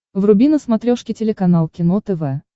вруби на смотрешке телеканал кино тв